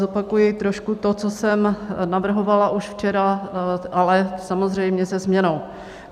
Zopakuji trošku to, co jsem navrhovala už včera, ale samozřejmě se změnou.